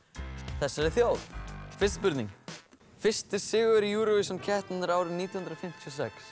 þessari þjóð fyrsta spurning fyrsti sigurvegari Eurovision keppninnar árið nítján hundruð fimmtíu